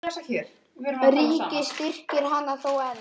Ríkið styrkir hana þó enn.